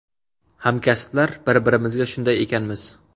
Hamkasblar bir-birimizga shunday ekanmiz.